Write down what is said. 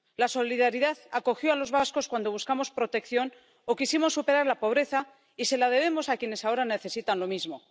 La solidaridad acogió a los vascos cuando buscamos protección o quisimos superar la pobreza, y se la debemos a quienes ahora necesitan lo mismo.